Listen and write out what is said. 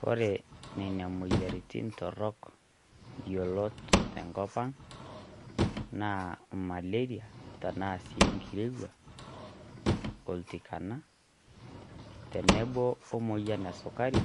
Kore nenia moyiarritin torrok yiolot te nkopang naa maleria tanaa si nkirewua, olntikana tenebo o moyian e sukari